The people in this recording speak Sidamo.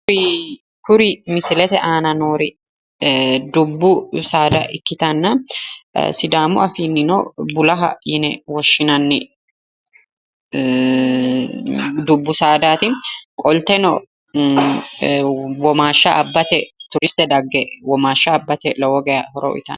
Kuri misilete aana noori dubbu saada ikkitanna sidaamu afiinnino bulaa yine woshshinanni dubbu saadaati qolteno womaashsha abbate turiste dagge womaashsha abbate lowo geya horo uyiitanno.